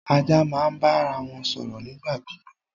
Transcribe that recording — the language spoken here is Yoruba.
Ajá máa ń bára wọn sọ̀rọ̀ nípa gbígbó